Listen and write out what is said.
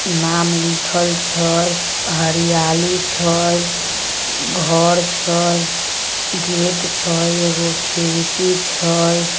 नाम लिखल छय हरयाली छय घर छय गेट छय एगो खिड़की छय।